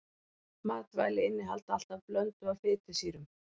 Matvæli innihalda alltaf blöndu af fitusýrum.